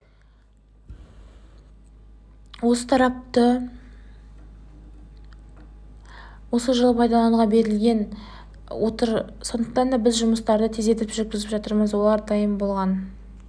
тарапы осы жылы пайдалануға бергелі отыр сондықтан біз жұмыстарды тездетіп жүргізіп жатырмыз олар дайын болған